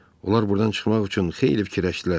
Onlar burdan çıxmaq üçün xeyli fikirləşdilər.